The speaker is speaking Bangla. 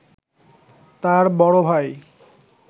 তাঁর বড় ভাই